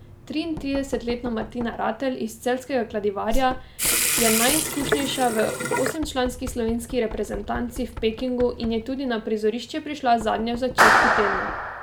Triintridesetletna Martina Ratej iz celjskega Kladivarja je najizkušenejša v osemčlanski slovenski reprezentanci v Pekingu in je tudi na prizorišče prišla zadnja v začetku tedna.